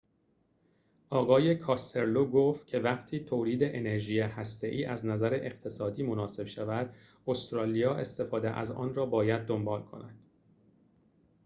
آقای کاستلو گفت که وقتی تولید انرژی هسته ای از نظر اقتصادی مناسب شود استرالیا استفاده از آن را باید دنبال کند